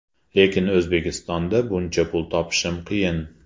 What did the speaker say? Lekin O‘zbekistonda buncha pul topishim qiyin” .